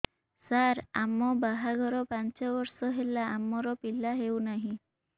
ସାର ଆମ ବାହା ଘର ପାଞ୍ଚ ବର୍ଷ ହେଲା ଆମର ପିଲା ହେଉନାହିଁ